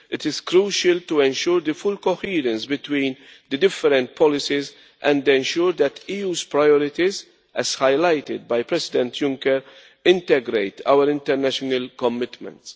it is crucial to ensure the full coherence between the different policies and ensure that the EU's priorities as highlighted by President Juncker integrate our international commitments.